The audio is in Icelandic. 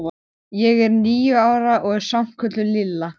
Ég er níu ára og er samt kölluð Lilla.